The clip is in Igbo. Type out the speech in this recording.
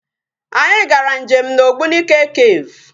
Anyị gara nje m na Ogbunike cave.